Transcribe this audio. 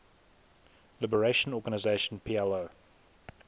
liberation organization plo